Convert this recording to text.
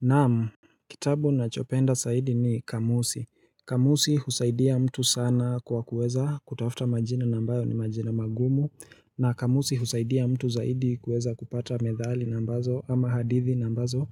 Naam, kitabu ninachopenda zaidi ni kamusi. Kamusi husaidia mtu sana kwa kuweza kutafuta majina na ambayo ni majina magumu na kamusi husaidia mtu zaidi kueza kupata medhali na ambazo ama hadithi na ambazo